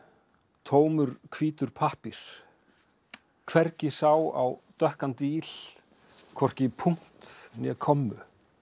tómur hvítur pappír hvergi sá á dökkan díl hvorki punkt né kommu